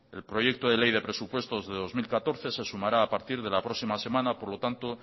el proyecto de ley de presupuestos de dos mil catorce se sumará a partir de la próxima semana por lo tanto